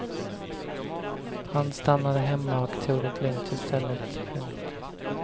Han stannade hemma och tog det lugnt istället. punkt